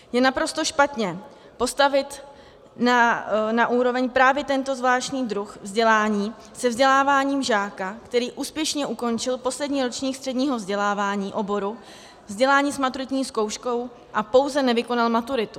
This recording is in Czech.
Je naprosto špatně postavit na úroveň právě tento zvláštní druh vzdělání se vzděláváním žáka, který úspěšně ukončil poslední ročník středního vzdělávání oboru, vzdělání s maturitní zkouškou a pouze nevykonal maturitu.